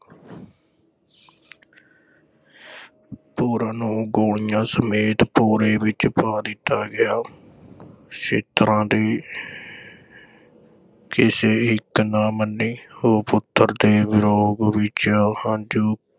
ਪੂਰਨ ਨੂੰ ਗੋਲੀਆਂ ਸਮੇਤ ਭੌਰੇ ਵਿਚ ਪਾ ਦਿੱਤਾ ਗਿਆ ਦੀ ਕਿਸੇ ਇੱਕ ਨਾ ਮੰਨੀ, ਉਹ ਪੁੱਤਰ ਦੇ ਵਿਯੋਗ ਵਿਚ ਹੰਝੂ